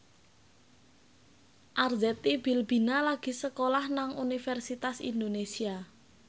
Arzetti Bilbina lagi sekolah nang Universitas Indonesia